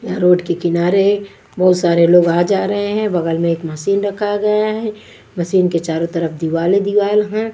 यहां रोड के किनारे बहुत सारे लोग आ जा रहे हैं बगल में एक मशीन रखा गया है मशीन के चारों तरफ दीवाले दीवाल है।